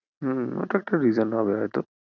হুম অটা একটা reason হবে হয়তো।